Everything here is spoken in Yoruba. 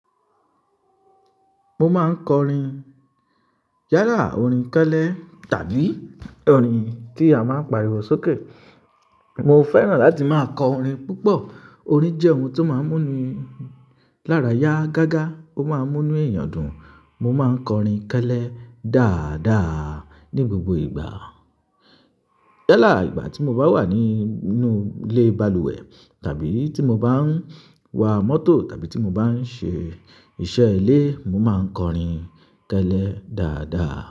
Mo máa ń kọrin yálà, orin kẹ́lẹ́ tàbí orin kí a máa ń pariwo sókè. Mo fẹ́ràn láti máa kọ orin púpọ̀. Orin jẹ́ ohun tó máa ń múni lára yá gágá, ó máa ń múnu èyàn dùn. Mo máa ń kọrin kélé dáadáa ní gbogbo ìgbà. Yálà ìgbà tí mo bá wà nínú ilé balùwẹ̀ tàbí tí mo bá ń wa mọ́tò tàbí tí mo bá ń ṣe iṣẹ́ ilé, mo máa ń kọrin kélé dáadáa.